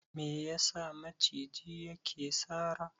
Me yasa maciji yake sara?